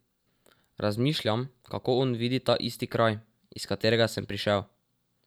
V parlament je prišlo rekordnih devet strank.